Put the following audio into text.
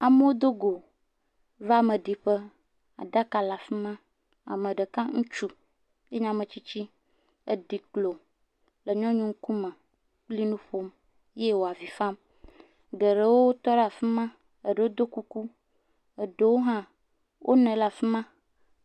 Amewo dogo va ameɖiƒe. Aɖaka le fima. Ameɖeka ŋutsu nye ametsitsi dzeklo le nyɔnuwo ŋukume le enuƒom eye woavi fam. Geɖewo tɔ ɖe afima. Aɖewo ɖo kuku. Eɖewo hã wonɔ anyi ɖe afima.